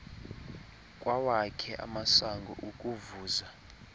kwawakhe amasango ukuvuza